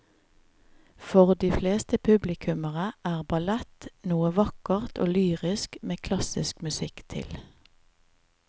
For de fleste publikummere er ballett noe vakkert og lyrisk med klassisk musikk til.